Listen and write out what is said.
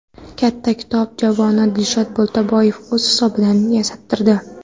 Katta kitob javonini Dilshod Boltaboyev o‘z hisobidan yasattirdi.